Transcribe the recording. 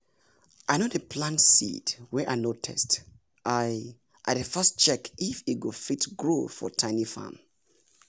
i no plant seed wey i no test i i dey first check if e go fit grow for tiny farm